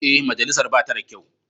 Ee, majalisar ba ta da kyau.